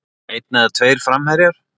Einn eða tveir framherjar?